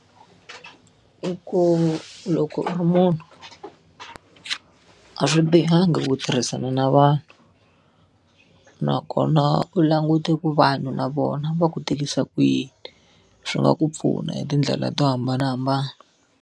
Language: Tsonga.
I ku loko u ri munhu a swi bihangi ku tirhisana na vanhu. Nakona u langute ku vanhu na vona va ku tirhisa kuyini. Swi nga ku pfuna hi tindlela to hambanahambana.